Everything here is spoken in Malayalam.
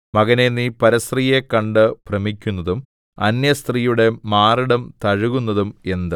മകനേ നീ പരസ്ത്രീയെ കണ്ട് ഭ്രമിക്കുന്നതും അന്യസ്ത്രീയുടെ മാറിടം തഴുകുന്നതും എന്ത്